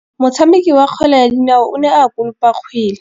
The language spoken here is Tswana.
Motshameki wa kgwele ya dinaô o ne a konopa kgwele.